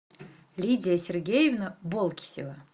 лидия сергеевна болкисева